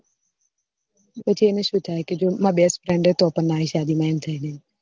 પછી અને શું થયે કે જો મારી best friend હૈ તો પણ મારી શાદી માં ના આઈ